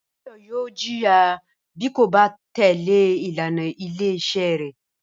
Báyò̩ yóò jìyà bí kò bá tè̩lé ìlànà ilé is̩é̩ rè̩